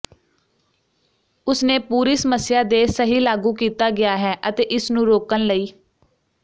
ਉਸ ਨੇ ਪੂਰੀ ਸਮੱਸਿਆ ਦੇ ਸਹੀ ਲਾਗੂ ਕੀਤਾ ਗਿਆ ਹੈ ਅਤੇ ਇਸ ਨੂੰ ਰੋਕਣ ਲਈ